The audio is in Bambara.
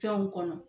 Fɛnw kɔnɔ